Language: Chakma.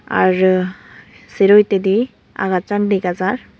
Arr sero hittedi agacchan dega jaar.